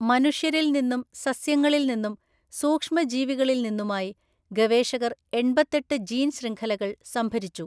മനുഷ്യരിൽനിന്നും സസ്യങ്ങളിൽനിന്നും സൂക്ഷ്മജീവികളിൽനിന്നുമായി ഗവേഷകർ എണ്‍പത്തെട്ടു ജീൻശൃംഖലകൾ സംഭരിച്ചു.